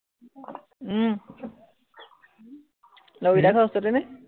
উম লগৰ কেইটাৰ ঘৰ ওচৰতে নে?